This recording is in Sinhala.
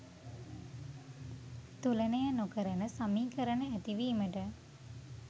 තුලනය නොකරන සමීකරණ ඇති වීමට